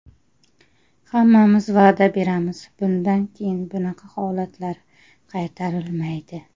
Hammamiz va’da beramiz bundan keyin bunaqa holatlar qaytarilmaydi.